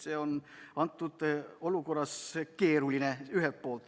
See on antud olukorras keeruline.